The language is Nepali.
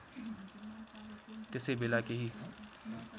त्यसै बेला केही